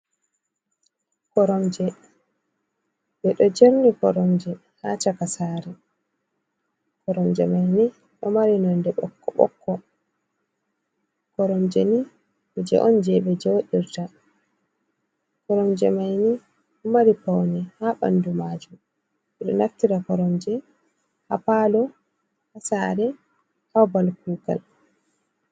Koronje beɗo jerni koronje ha shaka sare. Koromje ni ɗo mari nonɗe bokk-bokko. Koromjeni kuje je be jeɗirta. Koronje maini ɗo mari pauni ha bandu majum. beɗo naftira koromje ha palo ha sare ha babal kugal.